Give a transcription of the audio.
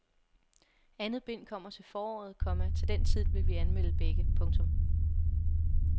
Andet bind kommer til foråret, komma til den tid vil vi anmelde begge. punktum